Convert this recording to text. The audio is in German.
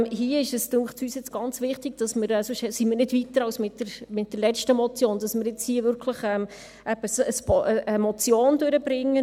Hier ist es uns jetzt ganz wichtig – sonst sind wir nicht weiter als mit der letzten Motion –, dass wir jetzt hier wirklich eine Motion durchbringen.